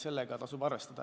Sellega tasub arvestada.